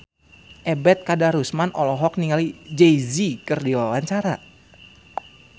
Ebet Kadarusman olohok ningali Jay Z keur diwawancara